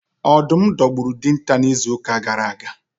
Ọdụm dogburu Dịnta na izu uka gara aga